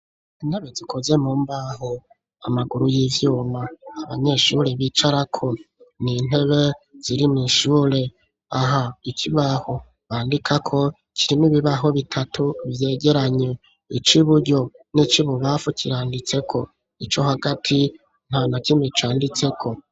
Intebe zikoze mu mbaho amaguru y'ivyuma abanyeshuri bicara ko ni intebe ziri mishure aha ikibaho bandikako kiri n'ibibaho bitatu vyegeranye ic'iburyo nic'ibubamfu kiranditseko ico hagati ntanakimwe canditseko.